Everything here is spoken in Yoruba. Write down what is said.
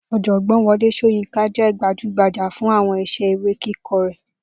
Ò̩jò̩gbó̩n Wo̩lé S̩óyínká jé̩ gbajúgbajà fún àwo̩n is̩é̩ eré kíko̩ rè̩